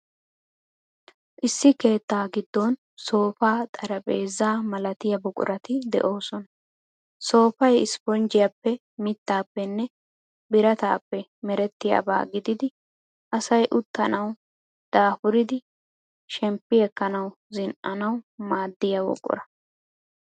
Issi keettaa giddon soofaa, xaraphpheezzaa malatiya buquratu de'oosona. Soofay ispponjjiyaappe mittaappenne birataappe merettiyaabaa gididi asay uttanawu, daafuridi shemmppi ekkanawu, zin''anawu maaddaiyaa buqura.